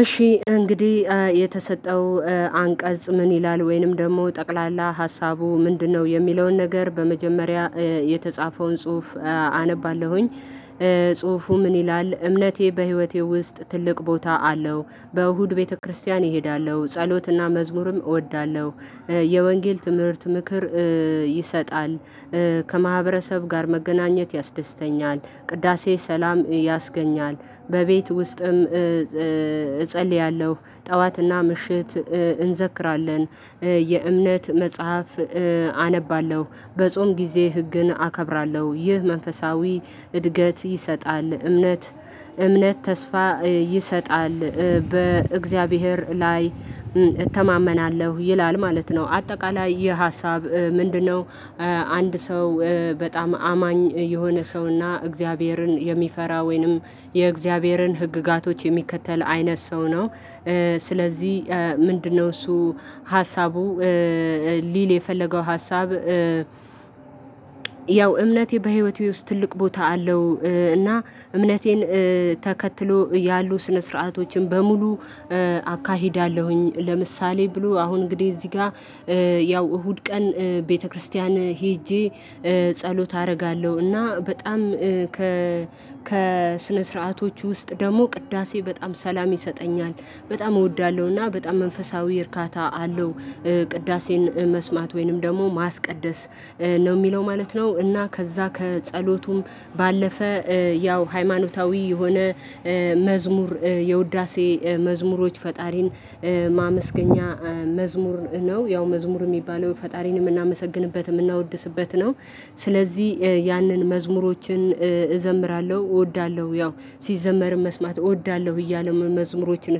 እሺ እንግዲህ የተሰጠው አንቀጽ ምን ይላል ወይንም ደግሞ ጠቅላላ ሀሳቡ ምንድነው? የሚለውን ነገር በመጀመሪያ የተጻፈውን ጽሁፍ አነባለሁኝ። ጽሁፉ ምን ይላል? እምነቴ በህይወቴ ውስጥ ትልቅ ቦታ አለው። በእሁድ ቤተክርስቲያን እሄዳለሁ ጸሎትና መዝሙርም እወዳለሁ። የወንጌል ትምህርት ምክር ይሰጣል። ከማህበረሰብ ጋር መገናኘት ያስደስተኛል። ቅዳሴ ሰላም ያስገኛል። በቤት ውስጥም እጸልያለሁ ጠዋትና ምሽት እንዘክራለን የእምነት መጽሐፍ አነባለሁ። በጾም ጊዜ ህግን አከብራለሁ። ይህ መንፈሳዊ እድገት ይሰጣል። እምነት እምነት ተስፋ ይሰጣል። በእግዚአብሔር ላይ እተማመናለሁ ይላል ማለት ነው። አጠቃላይ ይህ ሀሳብ ምንድነው? አንድ ሰው በጣም አማኝ የሆነ ሰውና እግዚአብሔርን የሚፈራ ወይንም የእግዚአብሔርን ህግጋቶች የሚከተል አይነት ሰው ነው። ስለዚህ ምንድነው እሱ ሀሳቡ ሊል የፈለገው ሀሳብ። ያው እምነቴ በህይወቴ ውስጥ ትልቅ ቦታ አለው። እና እምነቴን ተከትሎ ያሉ ስነ ስርዓቶችን በሙሉ አካሂዳለሁኝ። ለምሳሌ ብሎ አሁን እንግዲህ እዚህ ጋር ያው እሁድ ቀን ቤተክርስቲያን ሄጄ ጸሎት አደርጋለሁ። እና በጣም ከ ከ ስነ ስርዓቶች ውስጥ ደግሞ ቅዳሴ በጣም ሰላም ይሰጠኛል በጣም እወዳለሁና በጣም መንፈሳዊ እርካታ አለው። ቅዳሴን መስማት ወይንም ደግሞ ማስቀደስ ነው የሚለው ማለት ነው። እና ከዛ ከጸሎቱም ባለፈ ያው ሃይማኖታዊ የሆነ መዝሙር የውዳሴ መዝሙሮች ፈጣሪን ማመስገኛ መዝሙር ነው። ያው መዝሙር የሚባለው ፈጣሪን የምናመሰግንበት የምናወድስበት ነው። ስለዚህ ያንን መዝሙሮችን እዘምራለሁ እወዳለሁ ያው ሲዘመርም መስማት እወዳለሁ እያሉ መዝሙሮችን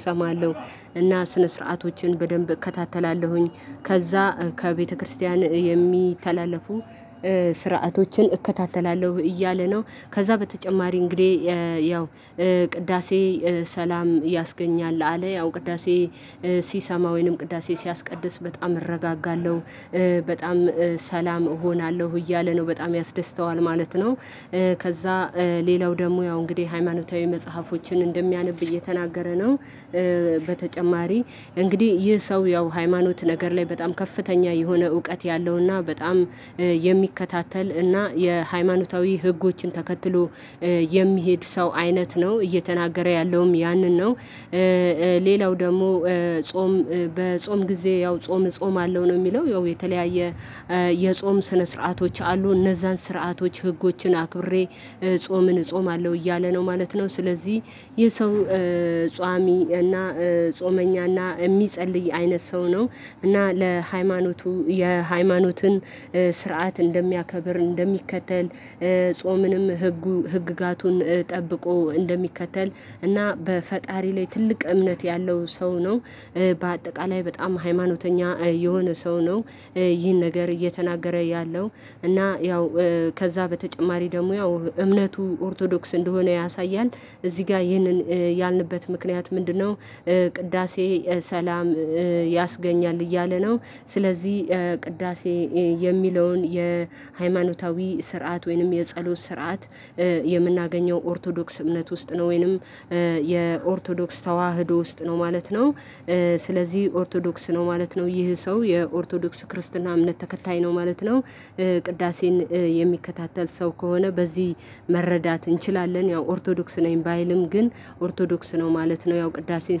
እሰማለሁ። እና ስነ ስርዓቶችን በደንብ እከታተላለሁኝ ከዛ ከቤተክርስቲያን የሚተላለፉ ስርዓቶችን እከታተላለሁ እያለ ነው። ከዛ በተጨማሪ እንግዲህ ያው ቅዳሴ ሰላም ያስገኛል አለ። ያው ቅዳሴ ሲሰማ ወይንም ቅዳሴ ሲያስቀድስ በጣም እረጋጋለሁ በጣም ሰላም እሆናለሁ እያለ ነው በጣም ያስደስተዋል ማለት ነው። ከዛ ሌላው ደግሞ ያው እንግዲህ ሃይማኖታዊ መጽሐፎችን እንደሚያነብ እየተናገረ ነው። በተጨማሪ እንግዲህ ይህ ሰው ያው ሃይማኖት ነገር ላይ በጣም ከፍተኛ የሆነ እውቀት ያለውና በጣም የሚከታተል እና የሃይማኖታዊ ህጎችን ተከትሎ የሚሄድ ሰው አይነት ነው እየተናገረ ያለውም ያንን ነው። ሌላው ደግሞ ጾም በጾም ጊዜ ያው ጾም እጾማለው ነው። የሚለው ያው የተለያየ የጾም ስነ ስርዓቶች አሉ። እነዛን ስርዓቶች ህጎችን አክብሬ ጾምን እጾማለሁ እያለ ነው ማለት ነው። ስለዚህ ይህ ሰው ጾሚ እና ጾመኛ እና የሚጸልይ አይነት ሰው ነው። እና ለሃይማኖቱ የሃይማኖትን ስርዓት እንደሚያከብር እንደሚከተል ጾምንም ህጉ ህግጋቱን ጠብቆ እንደሚከተል እና በፈጣሪ ላይ ትልቅ እምነት ያለው ሰው ነው። በአጠቃላይ በጣም ሃይማኖተኛ የሆነ ሰው ነው። ይህን ነገር እየተናገረ ያለው እና ያው ከዛ በተጨማሪ ደግሞ ያው እምነቱ ኦርቶዶክስ እንደሆነ ያሳያል። እዚህ ጋር ይህንን ያልንበት ምክንያት ምንድነው? ቅዳሴ ሰላም ያስገኛል እያለ ነው። ስለዚህ ቅዳሴ የሚለውን የሃይማኖታዊ ስርዓት ወይንም የጸሎት ስርዓት የምናገኘው ኦርቶዶክስ እምነት ውስጥ ነው። ወይንም የኦርቶዶክስ ተዋህዶ ውስጥ ነው ማለት ነው። ስለዚህ ኦርቶዶክስ ነው ማለት ነው ይህ ሰው የኦርቶዶክስ ክርስትና እምነት ተከታይ ነው ማለት ነው። ቅዳሴን የሚከታተል ሰው ከሆነ በዚህ መረዳት እንችላለን ያው ኦርቶዶክስ ነኝ ባይልም ግን ኦርቶዶክስ ነው ማለት ነው። ያው ቅዳሴን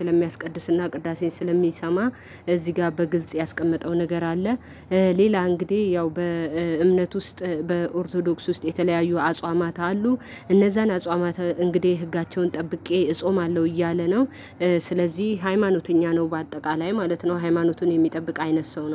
ስለሚያስቀድስና ቅዳሴን ስለሚሰማ እዚህ ጋር በግልጽ ያስቀመጠው ነገር አለ። ሌላ እንግዲህ ያው በእምነት ውስጥ በኦርቶዶክስ ውስጥ የተለያዩ አጽዋማት አሉ። እነዛን አጽዋማት እንግዲህ ህጋቸውን ጠብቄ እጾማለሁ እያለ ነው። ስለዚህ ሃይማኖተኛ ነው በአጠቃላይ ማለት ነው። ሃይማኖቱን የሚጠብቅ አይነት ሰው ነው